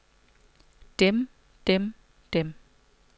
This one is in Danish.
dem dem dem